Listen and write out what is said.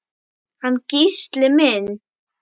Hann Gísli minn?